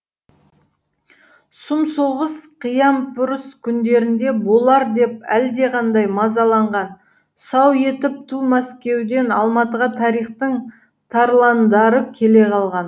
сұм соғыс қиямпұрыс күндеріндеболар деп әлдеқандай мазаланған сау етіп ту мәскеуден алматығатарихтың тарландары келе қалған